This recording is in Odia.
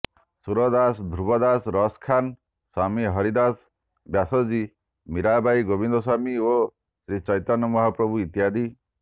ସୁରଦାସ ଧୃବଦାସ ରସଖାନ୍ ସ୍ବାମୀ ହରିଦାସ୍ ବ୍ୟାସଜୀ ମୀରାବାଇ ଗୋବିନ୍ଦସ୍ବାମୀ ଓ ଶ୍ରୀଚୈତନ୍ୟ ମହାପ୍ରଭୂ ଇତ୍ୟାଦି